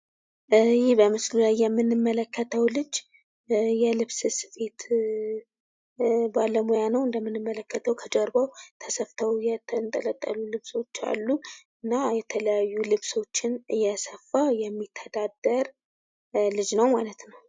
ይህ በምስሉ ላይ የምንመለከትው ልጅ የልብስ ስፌት ባለሙያ ነው። እንደምንመለከተው ከጀርባው ተሰትው የተንጠለጠሉ ልብሶች አሉ። እና የተለያዩ ልብሶችን እየሰፋ የሚተዳደር ልጅ ነው ማለት ነው።